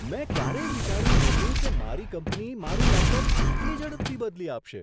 મેં ક્યારેય વિચાર્યું નહોતું કે મારી કંપની મારું લેપટોપ આટલી ઝડપથી બદલી આપશે!